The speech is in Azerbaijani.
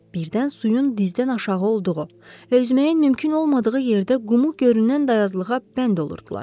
Birdən suyun dizdən aşağı olduğu və üzməyin mümkün olmadığı yerdə qumu görünən dayazlığa bənd olurdular.